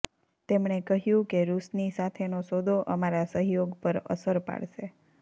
તેમણે કહ્યું કે રૂસની સાથેનો સોદો અમારા સહયોગ પર અસર પાડશે